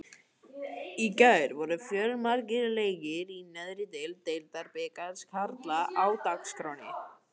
Í gær voru fjölmargir leikir í neðri deild Deildabikars karla á dagskránni.